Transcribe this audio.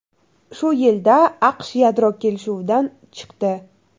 Shu yilda AQSh yadro kelishuvidan chiqdi.